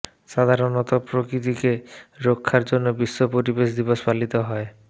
সাধারণত প্রকৃতিকে রক্ষার জন্যই বিশ্ব পরিবেশ দিবস পালিত হয়